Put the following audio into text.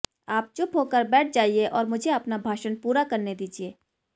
आप चुप होकर बैठ जाइए और मुझे अपना भाषण पूरा करने दीजिए